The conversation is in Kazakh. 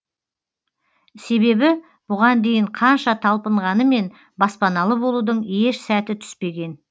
себебі бұған дейін қанша талпынғанымен баспаналы болудың еш сәті түспеген